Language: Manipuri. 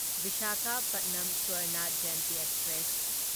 ꯚꯤꯁꯥꯈꯥꯄꯥꯠꯅꯝ ꯁ꯭ꯋꯔꯅ ꯖꯌꯟꯇꯤ ꯑꯦꯛꯁꯄ꯭ꯔꯦꯁ